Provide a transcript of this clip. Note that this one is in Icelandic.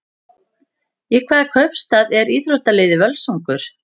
Í hvaða kaupstað er íþróttaliðið Völsungur?